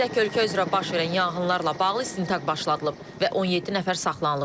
Qeyd edək ki, ölkə üzrə baş verən yanğınlarla bağlı istintaq başladılıb və 17 nəfər saxlanılıb.